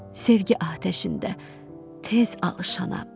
Sevgi atəşində tez alışanam.